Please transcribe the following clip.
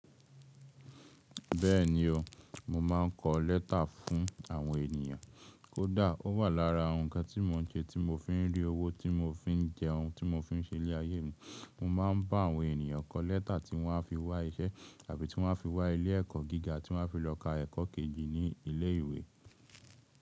Bẹ́ẹ̀ni o, mo ma ń kọ lẹ́tà fún àwọn ènìyàn. Kódà ó wà lára ǹkan tí mo ń ṣe tí mo fi ń rí owó tí mo fi ń jẹun, tí mo fi ń ṣe ilé ayé mi. Mo ma ń bá àwọn ènìyàn kọ lẹ́tà tí wọ́n á fi wá iṣẹ́ àbí tí wọ́n á fi wá ilé ẹ̀kọ́ gíga tí wọ́n á fi lọ ka ẹ̀kọ́ kejì ní ilé ìwé.